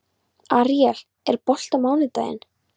Aríel, er bolti á mánudaginn?